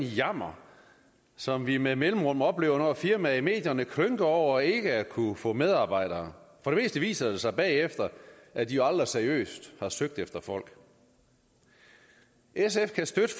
jammer som vi med mellemrum oplever når et firma klynker i medierne over ikke at kunne få medarbejdere for det meste viser det sig bagefter at de aldrig seriøst har søgt efter folk sf kan støtte